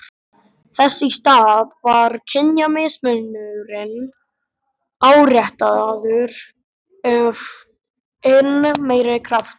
Þess í stað var kynjamismunurinn áréttaður af enn meiri krafti.